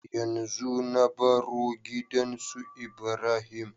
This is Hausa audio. Yanzu na baro gidan su ibrahim